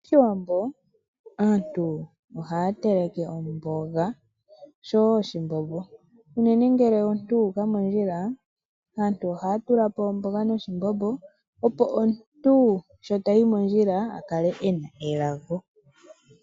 MOshiwambo aantu ohaya teleke omboga oshowo oshimbombo, unene ngele omuntu a uka mondjila, aantu ihaya tula po omboga noshimbombo opo omuntu sho tayi mondjila a kale ena elago.